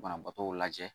Banabaatɔw lajɛ